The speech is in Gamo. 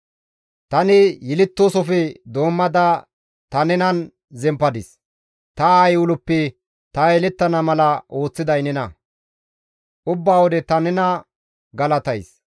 Tani yelettoosofe doommada ta nenan zemppadis; ta aayey uloppe ta yelettana mala ooththiday nena; ubba wode ta nena galatays.